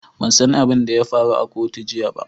Ban san abin da ya faru a kotu jiya ba.